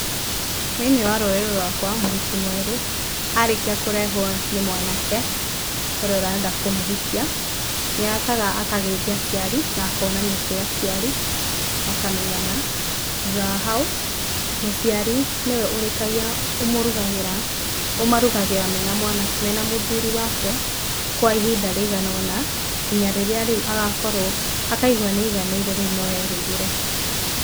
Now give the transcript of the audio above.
Thĩ-inĩ wa rũrĩrĩ rwakwa mũhiki mwerũ arĩkia kũrehwo nĩ mwanake, ũrĩa ũrenda kũmũhikia, nĩokaga akageithia aciari na akonanio kwĩ aciari, makamenyana, thutha wa hau mũciari nĩwe ũrĩkagia, ũmũrugagĩra, ũmarugagĩra mena mũthuri wake, kwa ihinda rĩigana ũna nginya rĩrĩa rĩu agakorwo, akaigua nĩ aiganĩire rĩu no erugĩre.